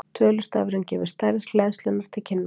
Tölustafurinn gefur stærð hleðslunnar til kynna.